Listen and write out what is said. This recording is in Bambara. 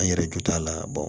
An yɛrɛ jo t'a la